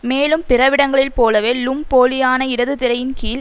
மேலும் பிறவிடங்களில் போலவே லும் போலியான இடது திரையின் கீழ்